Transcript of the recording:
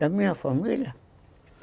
Da minha família?